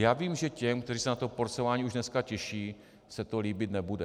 Já vím, že těm, kteří se na to porcování už dneska těší, se to líbit nebude.